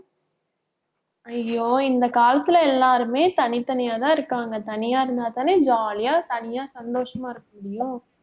ஐயோ இந்த காலத்துல எல்லாருமே தனித்தனியாதான் இருக்காங்க தனியா இருந்தாதானே jolly யா தனியா சந்தோஷமா இருக்கமுடியும்